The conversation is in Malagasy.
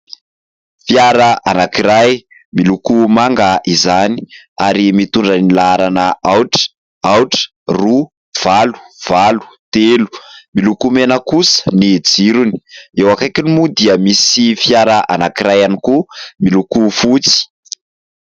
Fiara anankiray miloko manga izany ary mitondra ny laharana aotra, aotra, roa, valo, valo, telo ; miloko mena kosa ny jirony. Eo akaikiny moa dia misy fiara anankiray ihany koa miloko fotsy.